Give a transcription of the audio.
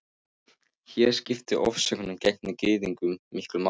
Hér skipta ofsóknir gegn Gyðingum miklu máli.